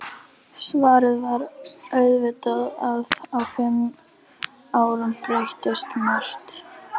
Svarið var auðvitað að á fimm árum breytist margt.